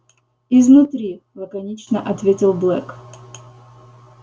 изнутри лаконично ответил блэк